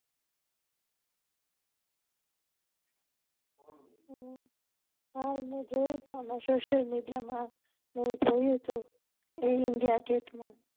હા ઈ મે જોયુ તું social media માં મેં જોયું તું ઐર india gate માં